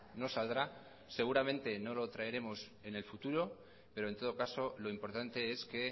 no saldrá seguramente no lo traeremos en el futuro pero en todo caso lo importante es que